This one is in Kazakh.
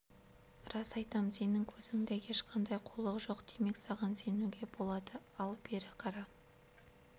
рас айтам сенің көзіңде ешқандай қулық жоқ демек саған сенуге болады ал бері қара